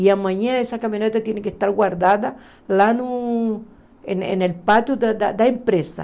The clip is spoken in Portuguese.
E amanhã essa caminhonete tem que estar guardada lá no... no no pátio da empresa.